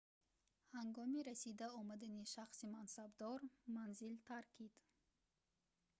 ҳангоми расида омадани шахси мансабдор манзил таркид